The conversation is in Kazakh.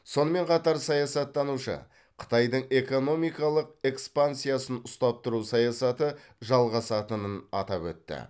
сонымен қатар саясаттанушы қытайдың экономикалық экспансиясын ұстап тұру саясаты жалғасатынын атап өтті